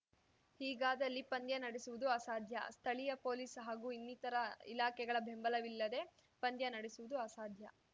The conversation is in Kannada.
ಹೀಗಾದಲ್ಲಿ ಪಂದ್ಯ ನಡೆಸುವುದು ಅಸಾಧ್ಯ ಸ್ಥಳೀಯ ಪೊಲೀಸ್‌ ಹಾಗೂ ಇನ್ನಿತರ ಇಲಾಖೆಗಳ ಬೆಂಬಲವಿಲ್ಲದೆ ಪಂದ್ಯ ನಡೆಸುವುದು ಅಸಾಧ್ಯ